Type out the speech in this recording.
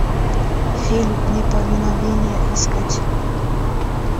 фильм неповиновение искать